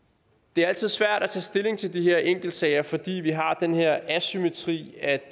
det er altid svært at tage stilling til de her enkeltsager fordi vi har den her asymmetri at